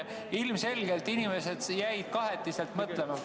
Ilmselgelt inimesed jäid kahetiselt mõtlema.